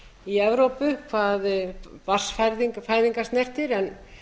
í evrópu hvað barnsfæðingar snertir en